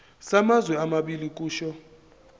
samazwe amabili kusho